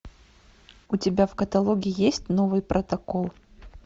у тебя в каталоге есть новый протокол